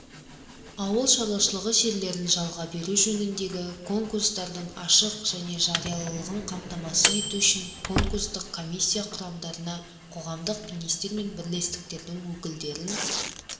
ауыл шаруашылығы жерлерін жалға беру жөніндегі конкурстардың ашық және жариялылығын қамтамасыз ету үшін конкурстық комиссия құрамдарына қоғамдық кеңестер мен бірлестіктердің өкілдерін